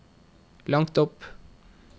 langt opp